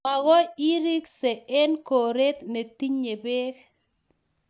magoi itrkse eng' koret netinye peek